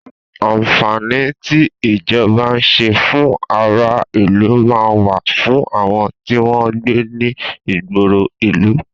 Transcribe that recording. àǹfàní tí ìjọba nṣe fún ará ìlú man wà fún àwọn tí wọn gbé ní ìgboro ìlú